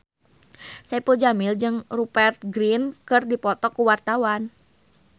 Saipul Jamil jeung Rupert Grin keur dipoto ku wartawan